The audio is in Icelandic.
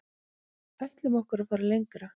Ætlum okkur að fara lengra